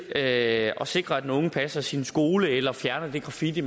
at sikre at den unge passer sin skole eller fjerner den graffiti